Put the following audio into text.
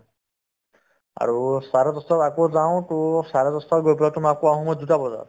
আৰু চাৰে দহটাত আকৌ যাওঁ to চাৰে দহটাত গৈ পেলাই তোমাৰ আকৌ আহো দুটা বজাত